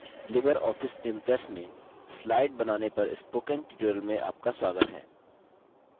libreoffice impress में slide बनाने पर spoken tutorial में आपका स्वागत है